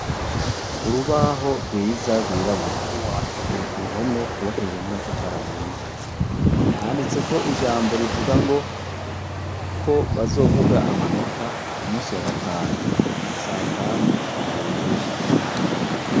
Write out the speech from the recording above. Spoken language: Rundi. Urubaho rwiza rwirabura ruri ku ruhome rwubakishije n'amatafari ahiye handitseko ijambo rivuga ngo ko bazovuga amanota ku munsi wa gatanu sa tanu zuzuye.